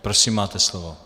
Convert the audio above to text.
Prosím, máte slovo.